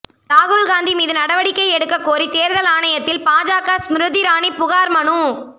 ராகுல்காந்தி மீது நடவடிக்கை எடுக்கக்கோரி தேர்தல் ஆணையத்தில் பாஜக ஸ்மிருதி இரானி புகார் மனு